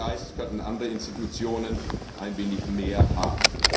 Von diesem Geist könnten andere Institutionen ein wenig mehr haben.